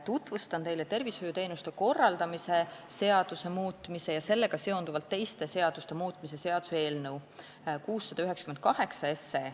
Tutvustan teile tervishoiuteenuste korraldamise seaduse muutmise ja sellega seonduvalt teiste seaduste muutmise seaduse eelnõu 698.